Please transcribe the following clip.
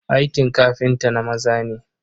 Aikin kafinta na maza ne.